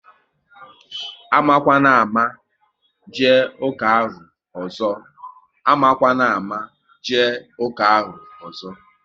Amakwana ámá jee ụka ahụ ọzọ!